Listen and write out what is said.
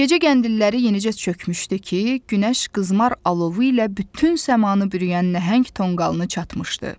Gecə qəndilləri yenicə çökmüşdü ki, günəş qızmar alovu ilə bütün səmanı bürüyən nəhəng tonqalını çatmışdı.